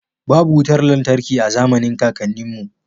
Babu wutar lantarki a zamanin kakanninmu